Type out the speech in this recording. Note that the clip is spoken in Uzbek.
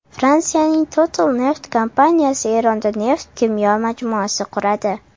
Fransiyaning Total neft kompaniyasi Eronda neft-kimyo majmuasi quradi.